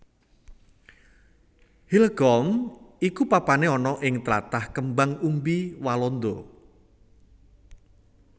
Hillegom iku papané ana ing tlatah kembang umbi Walanda